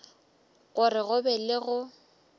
gore go be le go